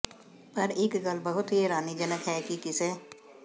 ਪਰ ਇਕ ਗੱਲ ਬਹੁਤ ਹੀ ਹੈਰਾਨੀਜਨਕ ਹੈ ਕਿ ਕਿਸੇ